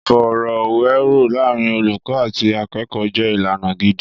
Ìfọ̀rọ̀wérọ̀ láàárín olùkọ́ àti akẹ́kọ̀ọ́ jẹ́ ìlànà gidi.